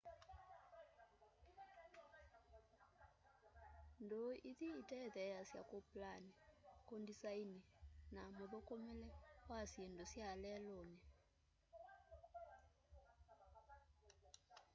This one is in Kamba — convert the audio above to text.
ndûû ithi itetheeasya kûplani kundisaini na mûthûkûmîle wa syindu sya leluni